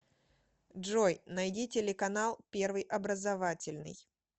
джой найди телеканал первый образовательный